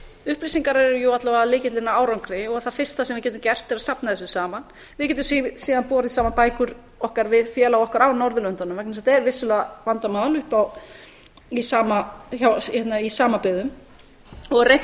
upplýsingar eru jú alla vega lykillinn að árangri og það fyrsta sem við getum gert er að safna þessu saman við getum síðan borið saman bækur okkar við félaga okkar á norðurlöndunum vegna þess að þetta er vissulega vandamál í samabyggðum og reynt